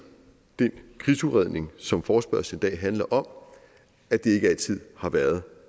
den krigsudredning som forespørgslen i dag handler om at det ikke altid har været